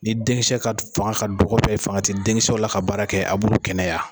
Ni denkisɛ ka fanga ka dɔgɔ fanga ti denkisɛw la ka baara kɛ a b'olu kɛnɛya.